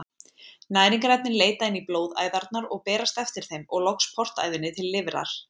Næringarefnin leita inn í blóðæðarnar og berast eftir þeim og loks portæðinni til lifrar.